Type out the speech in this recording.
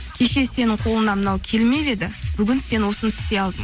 кеше сенің қолыңнан мынау келмеп еді бүгін сен осыны істей алдың